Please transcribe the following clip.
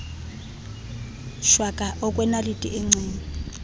shwaka okwenaliti engceni